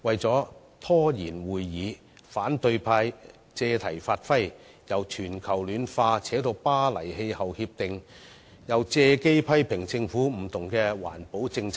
為拖延會議進程，反對派議員借題發揮，由全球暖化談到《巴黎協定》，又借機批評政府各項環保政策。